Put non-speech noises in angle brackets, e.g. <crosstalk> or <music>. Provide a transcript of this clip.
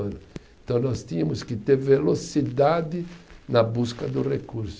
<unintelligible> Então nós tínhamos que ter velocidade na busca do recurso.